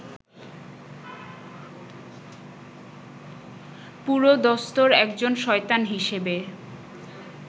পুরোদস্তুর একজন শয়তান হিসেবে